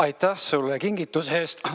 Aitäh sulle kingituse eest!